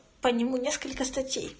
по нему несколько статей